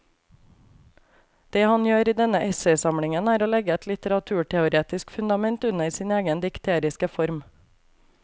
Det han gjør i denne essaysamlingen er å legge et litteraturteoretisk fundament under sin egen dikteriske form.